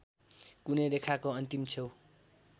कुनै रेखाको अन्तिम छेउ